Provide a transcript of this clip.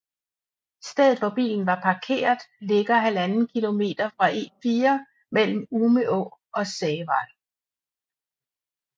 Stedet hvor bilen var parkeret ligger halvanden kilometer fra E4 mellem Umeå og Sävar